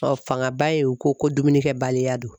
fangaba ye u ko ko dumunikɛbaliya don.